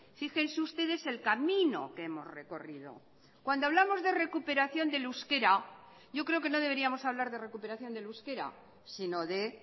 fíjense ustedes el camino que hemos recorrido cuando hablamos de recuperación del euskera yo creo que no deberíamos hablar de recuperación del euskera sino de